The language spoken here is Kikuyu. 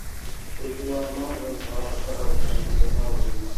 ũgima wa magego nĩ wa bata harĩ kanua kena ũgima